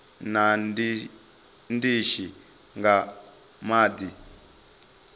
na ndishi nga madi o